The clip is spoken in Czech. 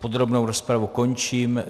Podrobnou rozpravu končím.